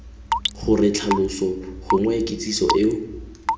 gore tlhaloso gongwe kitsiso eo